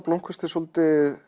blómkvist er svolítið